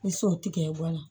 Ni sow tigɛ guwan na